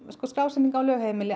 skrásetningin á lögheimili